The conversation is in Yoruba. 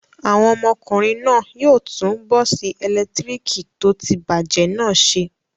Àwọn ọmọkùnrin náà yóò tún bọ́ọ́sì ẹ̀lẹ́tíríkì tó ti bàjẹ́ náà ṣe.